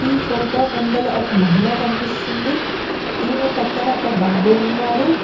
ఈ ఫోటో ముందల ఒక మహిళ కనిపిస్తుంది ఈమె పక్కన ఒక బాబు ఉన్నాడు.